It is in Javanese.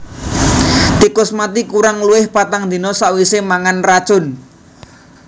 Tikus mati kurang luwih patang dina sawisé mangan racun